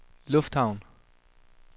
lufthavn